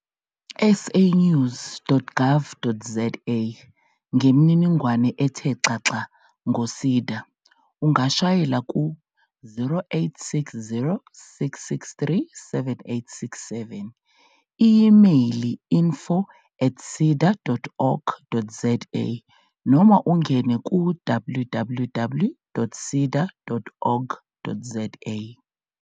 SAnews.gov.zaNgemininingwane ethe xaxa ngo-SEDA ungashayela ku-0860 663 7867, i-imeyili info@seda.org.za noma ungene ku-www.seda.org.za.